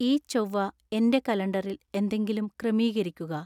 ഈ ചൊവ്വ എന്‍റെ കലണ്ടറില്‍ എന്തെങ്കിലും ക്രമീകരിക്കുക